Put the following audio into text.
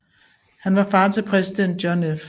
Han var far til præsident John F